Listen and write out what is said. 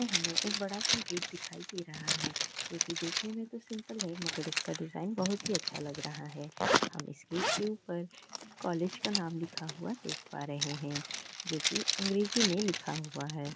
यहाँ हमें एक बड़ा-सा गेट दिखाई दे रहा है जो की देखने में तो सिंपल है पर इसका डिजाइन बहुत अच्छा लग रहा है। हमें हम इस गेट के ऊपर कॉलेज का नाम लिखा हुआ देख पा रहे हैं जो की अंग्रेजी में लिखा हुआ है।